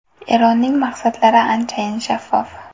Eronning maqsadlari anchayin shaffof.